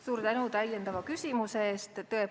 Suur tänu täiendava küsimuse eest!